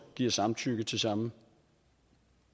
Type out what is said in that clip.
giver samtykke til samme